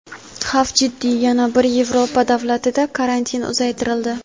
Xavf jiddiy: yana bir Yevropa davlatida karantin uzaytirildi.